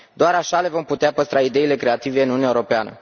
Doar așa le vom putea păstra ideile creative în Uniunea Europeană.